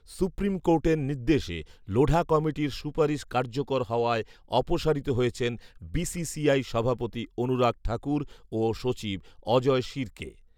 supreme কোর্টের নির্দেশে লোঢা কমিটির সুপারিশ কার্যকর হওয়ায় অপসারিত হয়েছেন বিসিসিআই সভাপতি অনুরাগ ঠাকুর ও সচিব অজয় শিরকে